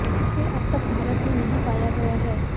इसे अब तक भारत में नहीं पाया गया है